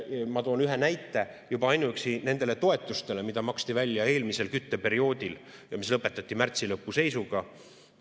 Ma toon ühe näite: juba ainuüksi need toetused, mida maksti välja eelmisel kütteperioodil ja mis lõpetati märtsi lõpu seisuga.